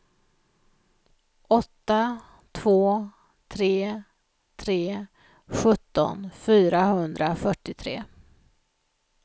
åtta två tre tre sjutton fyrahundrafyrtiotre